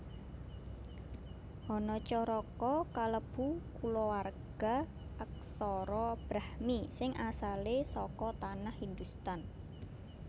Hanacaraka kalebu kulawarga aksara Brahmi sing asalé saka Tanah Hindhustan